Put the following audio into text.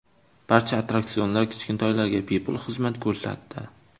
Barcha attraksionlar kichkintoylarga bepul xizmat ko‘rsatdi.